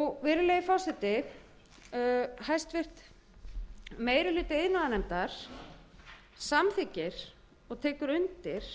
virðulegi forseti meiri hluti iðnaðarnefndar samþykkir og tekur undir